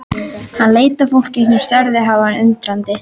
Hann leit á fólkið sem starði á hann undrandi.